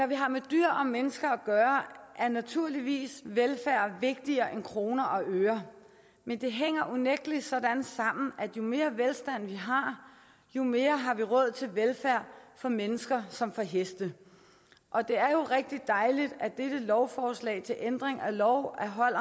vi har med dyr og mennesker at gøre er velfærd naturligvis vigtigere end kroner og øre men det hænger unægteligt sådan sammen at jo mere velstand vi har jo mere har vi råd til velfærd for mennesker som for heste og det er jo rigtig dejligt at dette lovforslag til ændring af lov om hold